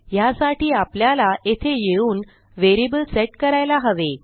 ह्यासाठी आपल्याला येथे येऊन व्हेरिएबल सेट करायला हवे